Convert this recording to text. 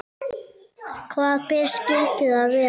Hvaða ber skyldu það vera?